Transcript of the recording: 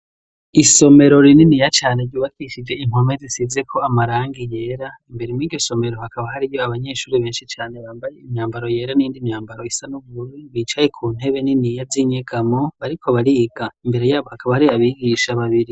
Isomero rininiya cane ryubakishije impome zisize ko amarangi yera imbere m'iryo somero hakaba hari yo abanyeshuri benshi cane bambaye imyambaro yera n'indi myambaro isa n'ubuuru bicaye ku ntebe niniya z'inyegamo bariko bariga imbere yabo hakaba hari abigisha babiri.